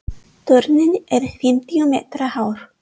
Turninn er fimmtíu metra hár.